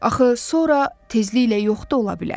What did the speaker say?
Axı sonra tezliklə yox da ola bilər.